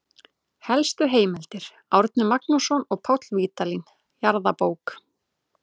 Helstu heimildir: Árni Magnússon og Páll Vídalín, Jarðabók.